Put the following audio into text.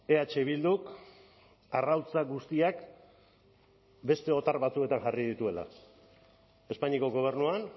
eh bilduk arrautza guztiak beste otar batzuetan jarri dituela espainiako gobernuan